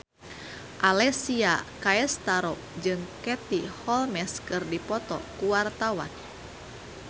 Alessia Cestaro jeung Katie Holmes keur dipoto ku wartawan